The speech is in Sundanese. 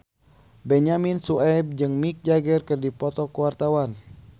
Benyamin Sueb jeung Mick Jagger keur dipoto ku wartawan